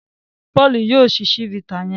Paul yíò síi chivita yen.